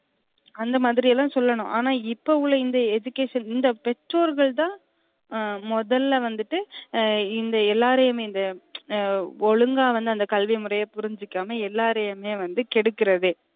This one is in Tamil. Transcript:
அந்த மாதிரியேதான் சொல்லனும் ஆனா இப்ப உள்ள இந்த education இந்த பெற்றொர்கள் தான் முதல்ல வந்துட்டு இந்த எல்லாரையுமே இந்த ஒலுங்க வந்து கல்வி முறைய புரிஞ்சிக்காம எல்லாறையுமே கெடுக்குறதே